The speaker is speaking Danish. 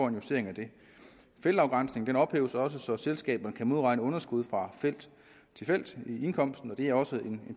en justering af det feltafgrænsningen ophæves også så selskaberne kan modregne underskud fra felt til felt i indkomsten og det er også en